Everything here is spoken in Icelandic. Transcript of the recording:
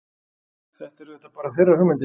Þetta eru auðvitað bara þeirra hugmyndir